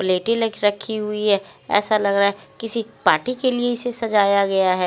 प्लेटी लिख रही हुई है ऐसा लग रहा किसी पार्टी के लिए सजाया गया है।